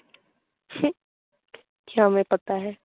Hindi কিয়া ম্যায় পাতা হে